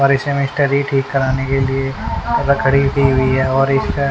ठीक कराने के लिए लकड़ी दी हुई हैं और--